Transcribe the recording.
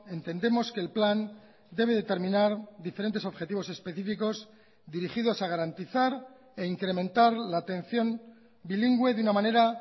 entendemos que el plan debe determinar diferentes objetivos específicos dirigidos a garantizar e incrementar la atención bilingüe de una manera